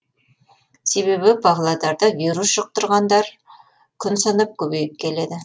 себебі павлодарда вирус жұқтырғандар күн санап көбейіп келеді